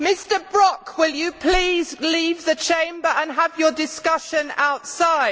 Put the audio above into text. Mr Brok, will you please leave the Chamber and have your discussion outside.